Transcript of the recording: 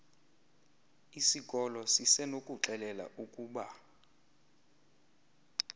isikolo sisenokukuxelela ukuba